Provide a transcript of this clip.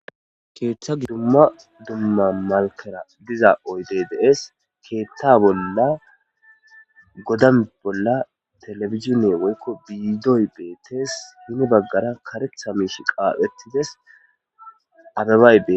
keeththa gidon dumma dumma malkera diza oydey de'es keeththa bolla godan bolla telefizine woykko biidoy beetes hini baggara karetha miish qaaphettides abebay betes